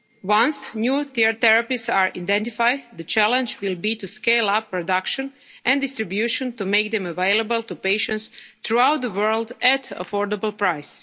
of key challenges. Once new therapies are identified, the challenge will be to scale up production and distribution to make them available to patients throughout the world at